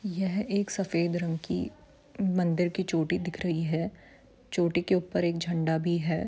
यह एक सफेद रंग की मंदिर की चोटी दिख रही है चोटी के ऊपर एक झंडा भी है।